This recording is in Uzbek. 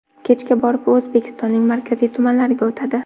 Kechga borib u O‘zbekistonning markaziy tumanlariga o‘tadi.